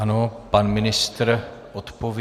Ano, pan ministr odpoví.